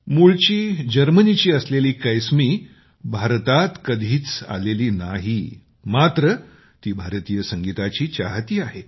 मूळची जर्मनीची असलेली कैसमी भारतात कधीच आलेली नाही मात्र ती भारतीय संगीताची चाहती आहे